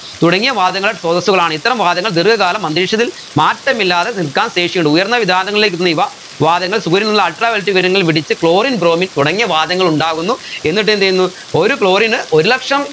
തുടങ്ങിയ വാതകങ്ങൾ സ്രോതസുകളാണ് ഇത്തരം വാതകങ്ങൾ ദീർഘകാലം അന്തരീക്ഷത്തിൽ മാറ്റമില്ലാതെ നിർത്താൻ ശേഷിയുണ്ട് ഉയർന്ന വിതാനങ്ങളിലേക്ക് എത്തുന്ന ഇവ വാതകങ്ങൾ സൂര്യനിൽ നിന്നുള്ള ultraviolet കിരണങ്ങൾ പിടിച്ച് chlorine bromine തുടങ്ങിയ വാതകങ്ങൾ ഉണ്ടാകുന്നു എന്നിട്ട് എന്തെയ്യുന്നു ഒരു chlorine ന് ഒരു ലക്ഷം